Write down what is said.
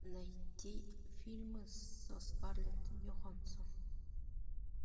найти фильмы со скарлетт йоханссон